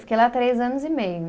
Fiquei lá três anos e meio.